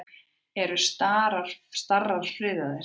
Eru starar friðaðir?